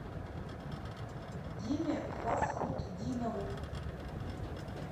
диме фасхутдинову